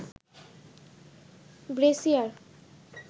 brassiere